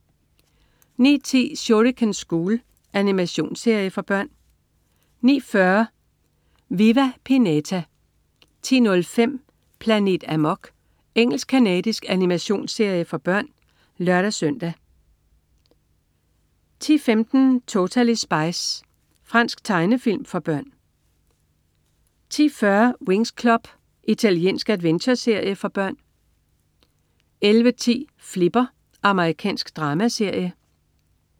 09.10 Shuriken School. Animationsserie for børn 09.40 Viva Pinata 10.05 Planet Amok. Engelsk-canadisk animationsserie for børn (lør-søn) 10.15 Totally Spies. Fransk tegnefilm for børn 10.40 Winx Club. Italiensk adventureserie for børn 11.10 Flipper. Amerikansk dramaserie